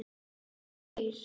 Bara við þrír.